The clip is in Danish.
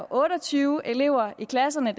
otte og tyve elever i klasserne